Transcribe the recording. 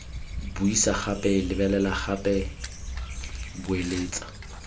buisa gape lebelela gape boeletsa